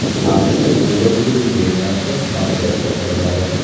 AQShda Kuba televideniyesi translyatsiya qilinadi.